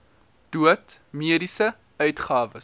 dood mediese uitgawes